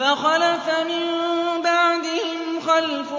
فَخَلَفَ مِن بَعْدِهِمْ خَلْفٌ